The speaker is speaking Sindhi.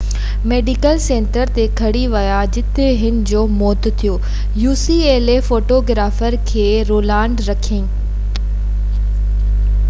فوٽوگرافر کي Ronald Reagan ucla medical centre تي کڻي ويا جتي هن جو موت ٿيو